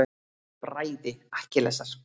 Bræði Akkilesar.